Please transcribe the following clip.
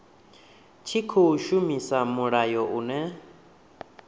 tshi khou shumisa mulayo une